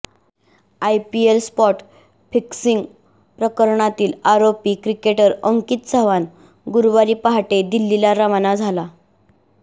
IPL spot fixing प्रकरणातील आरोपी cricketer Ankit Chavan गुरुवारी पहाटे दिल्लीला रवाना झाला